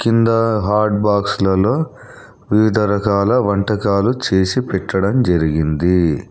కింద హాట్ బాక్సులలో వివిధ రకాల వంటకాలు చేసి పెట్టడం జెరిగింది.